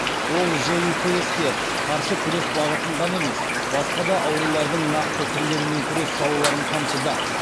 ол житс ке қарсы күрес бағытын ғана емес басқа да аурулардың нақты түрлерімен күрес салаларын қамтыды